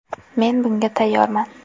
Men bunga tayyorman.